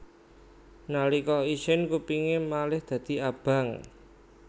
Nalika isin kupingé malih dadi abang